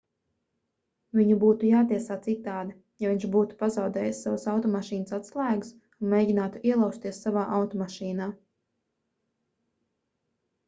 viņu būtu jātiesā citādi ja viņš būtu pazaudējis savas automašīnas atslēgas un mēģinātu ielauzties savā automašīnā